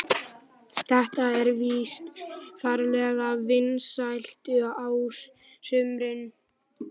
Þetta er víst ferlega vinsælt á sumrin.